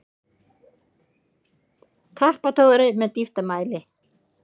Tappatogari með dýptarmæli.